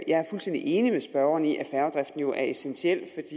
er fuldstændig enig med spørgeren i at færgedriften jo er essentiel